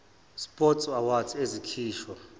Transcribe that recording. sport awards ezikhishwa